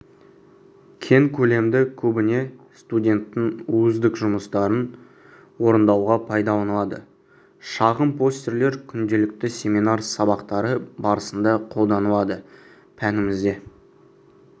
кең көлемді көбіне студенттің өздік жұмыстарын орындауға пайдаланылады шағын постерлер күнделікті семинар сабақтары барысында қолданылады пәнімізде